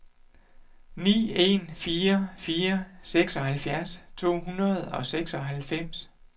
ni en fire fire seksoghalvfjerds to hundrede og seksoghalvfems